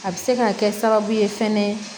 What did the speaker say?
A bɛ se ka kɛ sababu ye fɛnɛ